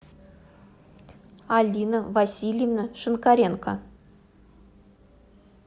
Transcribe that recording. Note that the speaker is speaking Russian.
алина васильевна шинкаренко